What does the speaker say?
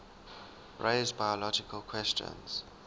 raise biological questions